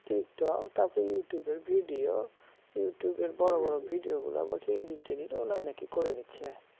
tiktok তারপর youtube এর video youtube এর বড় বড় video গুলো বলছে edit টেডিটও নাকি ওরাই নাকি করে দিচ্ছে